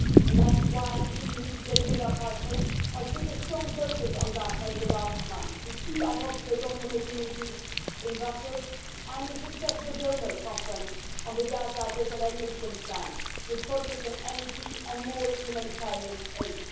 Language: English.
That is why the EU, together with our partners, has put a strong focus on Gaza in the last month, with two ad hoc liaison committee meetings in Brussels and a successful donor conference on the Gaza desalination plant, with a project on energy and more humanitarian aid.